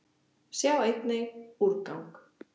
Sjá einnig: úrgang